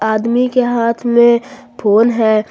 आदमी के हाथ में फोन है।